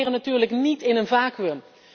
Wij opereren natuurlijk niet in een vacuüm.